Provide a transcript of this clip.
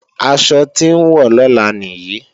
Aṣọ tí n wọ̀ lọ́la nìyí